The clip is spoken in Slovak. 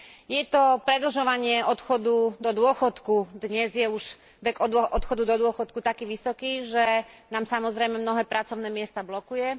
Je to predlžovanie odchodu do dôchodku dnes je už vek odchodu do dôchodku taký vysoký, že nám samozrejme mnohé pracovné miesta blokuje.